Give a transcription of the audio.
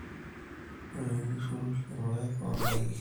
ore tenintushul ilpaek o daiki